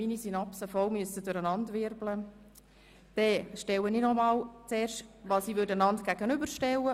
Wir sind von einer Ausmehrung ausgegangen, indem wir den Antrag der glp dem Eventualantrag FDP gegenüberstellen.